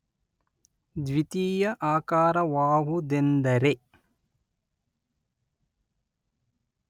ದ್ವಿತೀಯ ಆಕಾರವಾವುದೆಂದರೆ